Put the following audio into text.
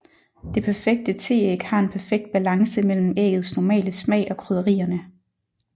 Det perfekte teæg har en perfekt balance mellem æggets normale smag og krydderierne